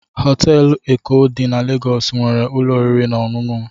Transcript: Họteelụ Eko dị na Legọs nwere ụlọ oriri na ọṅụṅụ m.